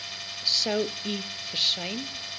sou u versuim